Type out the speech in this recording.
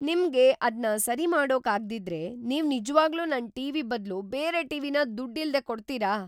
ನಿಮ್ಗೆ ಅದ್ನ ಸರಿಮಾಡೋಕ್ ಆಗ್ದಿದ್ರೆ ನೀವ್ ನಿಜ್ವಾಗ್ಲೂ ನನ್ ಟಿ.ವಿ. ಬದ್ಲು ಬೇರೆ ಟಿ.ವಿ.ನ ದುಡ್ಡಿಲ್ದೇ ಕೊಡ್ತೀರಾ?